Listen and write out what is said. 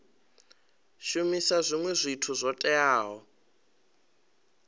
shumisa zwinwe zwithu zwo teaho